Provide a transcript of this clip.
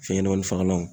Fɛn ɲɛnɛmani fagalanw